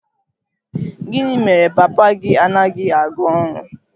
Gịnị mere papa gị anaghị aga ọrụ?